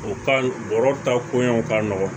O ka bɔrɔ ta ko ɲɛ ka nɔgɔn